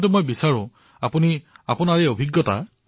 কিন্তু মই বিচাৰিম যে আপোনাৰ এই অনুভৱ